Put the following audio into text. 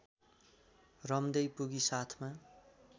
रम्दै पुगी साथमा